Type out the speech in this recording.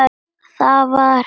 Það var hefð hjá okkur.